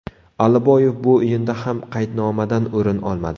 Aliboyev bu o‘yinda ham qaydnomadan o‘rin olmadi.